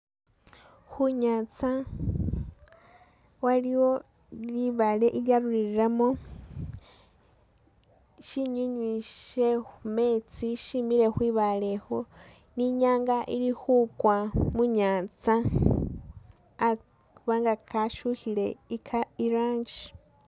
Khunyantsa waliwo libaale gigyarulilamo shinyinyi she khumeetsi shimile kwibaale khu ni inyanga ili khugwa munyatsa khubabga gakyukhile irangi.